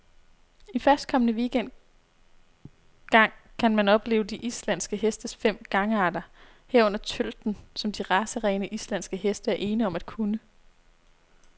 I førstkommende weekend gang kan man opleve de islandske hestes fem gangarter, herunder tølten, som de racerene, islandske heste er ene om at kunne.